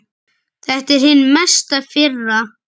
Þetta er hin mesta firra.